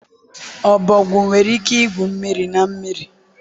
ọbọgwụ nwere ike igwu mmiri na mmiri.